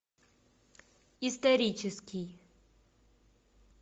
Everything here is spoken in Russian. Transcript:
исторический